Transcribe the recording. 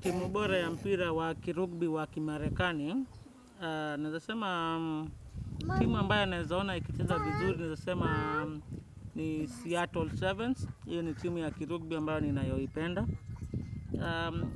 Timu bora ya mpira wa kirugbi wa kimarekani naweza sema timu ambayo nawezaona ikicheza vizuri. Nawezasema ni Seattle Sevens. Iyo ni timu ya kirugbi ambayo ninayoipenda.